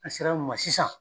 A sera an ma sisan.